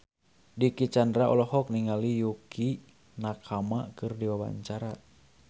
Dicky Chandra olohok ningali Yukie Nakama keur diwawancara